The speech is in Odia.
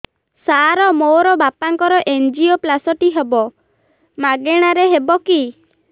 ସାର ମୋର ବାପାଙ୍କର ଏନଜିଓପ୍ଳାସଟି ହେବ ମାଗଣା ରେ ହେବ କି